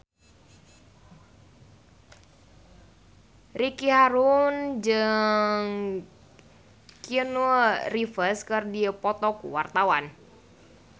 Ricky Harun jeung Keanu Reeves keur dipoto ku wartawan